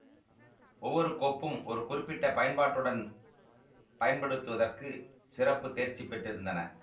ஒவ்வொரு கோப்பும் ஒரு குறிப்பிட்ட பயன்பாட்டுடன் பயன்படுத்துவதற்கு சிறப்பு தேர்ச்சி பெற்றிருந்தன